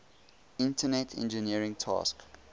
internet engineering task